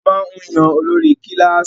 A máa ń yan olórí kílàsì.